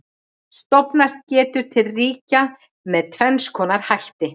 Stofnast getur til ríkja með tvenns konar hætti.